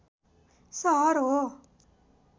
सहर हो